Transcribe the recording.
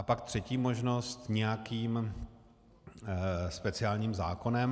A pak třetí možnost, nějakým speciálním zákonem.